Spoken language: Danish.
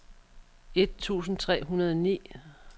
et tusind tre hundrede og ni